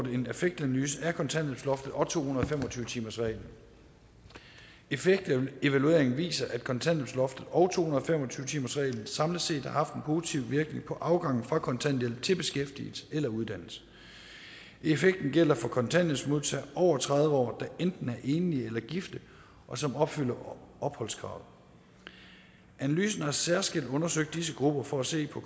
en effektanalyse af kontanthjælpsloftet og to hundrede og fem og tyve timersreglen effektevalueringen viser at kontanthjælpsloftet og to hundrede og fem og tyve timersreglen samlet set har haft en positiv virkning på afgangen fra kontanthjælp til beskæftigelse eller uddannelse effekten gælder for kontanthjælpsmodtagere over tredive år der er enten enlige eller gifte og som opfylder opholdskravet analysen har særskilt undersøgt disse grupper for at se på